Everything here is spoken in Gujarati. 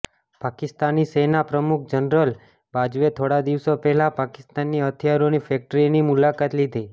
પાકિસ્તાની સેના પ્રમુખ જનરલ બાજવે થોડા દિવસો પહેલા પાકિસ્તાનની હથિયારોની ફેકટ્રીની મુલાકાત લીધી